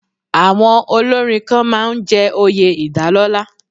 Awon olórin kan máa ń jẹ́ oyè ìdálọ́lá.